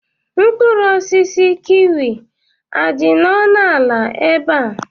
Mkpụrụ osisi kiwi adị ọnụ ala ebe a?